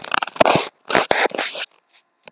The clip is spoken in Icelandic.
Varla gátu þeir verið að handtaka okkur vegna þess.